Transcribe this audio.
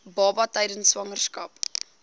baba tydens swangerskap